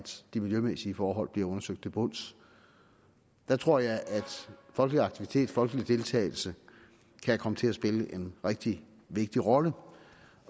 de miljømæssige forhold bliver undersøgt til bunds der tror jeg at folkelig aktivitet og folkelig deltagelse kan komme til at spille en rigtig vigtig rolle